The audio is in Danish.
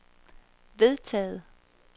vedtaget